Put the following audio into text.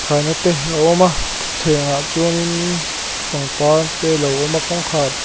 khaina te a awm a thutthlengah chuanin pangpar te a lo awm a kawngkhar--